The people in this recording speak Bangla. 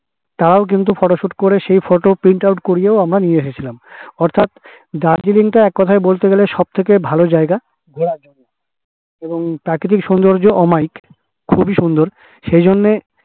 তারাও কিন্তু photo shoot করে সেই photoprint out করেও আমরা নিয়ে এসেছি অর্থাৎ দার্জিলিং তা এক কোথায় বলতে গেলে সব থেকে ভালো জায়গা কারণ দার্জিলিঙের সৌন্দর্য অমায়িক খুবই সুন্দর সেইজন্যই